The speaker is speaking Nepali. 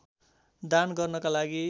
दान गर्नको लागि